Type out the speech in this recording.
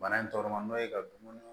Bana in tɔgɔma n'o ye ka dumuni